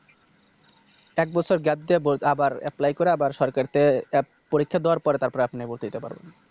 এক বছর Gap দিয়ে ভর্তি আবার Apply করা আবার তরকারিতে Apply পরীক্ষা দেওয়ার পর তারপরে আপনি ভর্তি হতে পারবেন